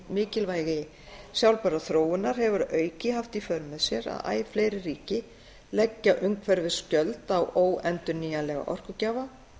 mikilvægi sjálfbærrar þróunar hefur að auki haft í för með sér að æ fleiri ríki leggja umhverfisgjöld á óendurnýjanlega orkugjafa